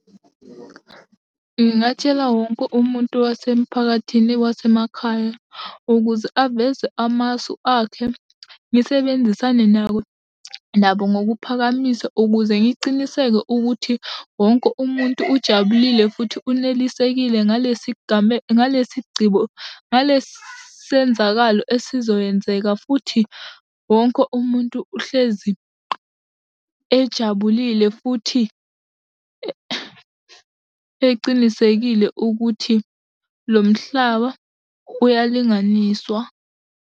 Ngingatshela wonke umuntu wasemphakathini wasemakhaya ukuze aveze amasu akhe. Ngisebenzisane nabo nokuphakamisa, ukuze ngiciniseke ukuthi wonke umuntu ujabulile futhi unelisekile ngalesi ngalesi ngalesi senzakalo esizowenzeka, futhi wonke umuntu uhlezi ejabulile futhi eqinisekile ukuthi lo mhlaba uyalinganiswa.